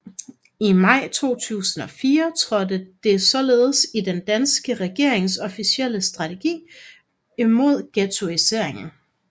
I maj 2004 optrådte det således i den danske regerings officielle strategi mod ghettoisering